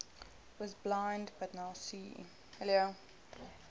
was blind but now see